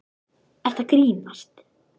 Ertu að grínast?!